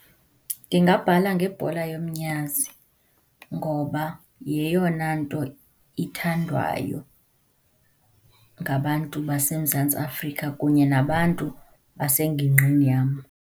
Ndingabhala ngebhola yomnyazi ngoba yeyona nto ithandwayo ngabantu baseMzantsi Afrika kunye nabantu basengingqini yam.